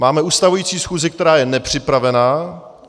Máme ustavující schůzi, která je nepřipravena.